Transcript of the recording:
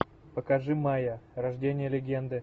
покажи майя рождение легенды